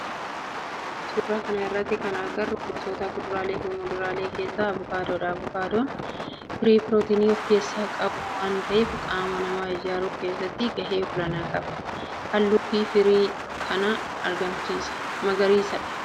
Suuraa kana irratti kan agarru gosoota kuduraalee fi muduraalee keessaa avokaadodha. Avokaadoon firii pirootinii of keessaa qabu waan ta'eef qaama namaa ijaaruu keessatti gahee olaana qaba. Halluun firii kanaa magariisadha.